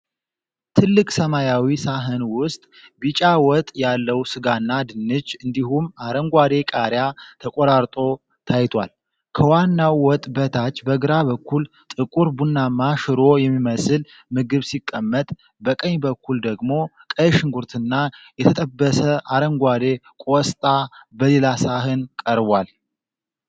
ትልቅ ሰማያዊ ሳህን ውስጥ ቢጫ ወጥ ያለው ስጋና ድንች እንዲሁም አረንጓዴ ቃሪያ ተቆራርጦ ታይቷል። ከዋናው ወጥ በታች በግራ በኩል ጥቁር ቡናማ ሽሮ የሚመስል ምግብ ሲቀመጥ፤ በቀኝ በኩል ደግሞ ቀይ ሽንኩርትና የተጠበሰ አረንጓዴ ቆስጣ በሌላ ሰሃን ቀርቧል።